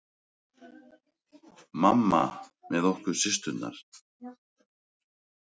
Mamma með okkur systurnar.